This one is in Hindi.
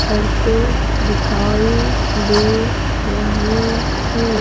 करते दिखाई दे रहे हैं।